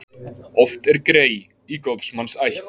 Oft er grey í góðs manns ætt.